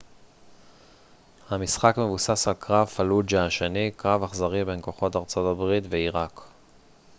המשחק מבוסס על קרב פלוג'ה השני קרב אכזרי בין כוחות ארה ב ועיראק